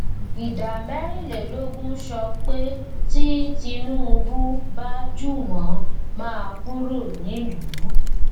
ìdá mẹrinlélógún sọ pé tí tinúubú bá jù wọn máa kúrò nílùú